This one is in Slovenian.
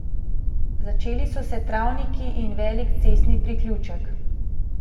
Začeli so se travniki in velik cestni priključek.